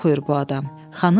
Və harda oxuyur bu adam?